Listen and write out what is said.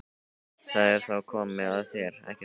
Það er þá komið að þér, ekki satt?